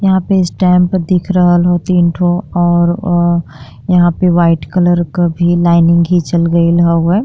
यहाँँ पे स्टाम्प दिख रहल हउ तीन ठो और यहाँँ पर वाइट कलर का भी लाइनिग घिचल हउवे।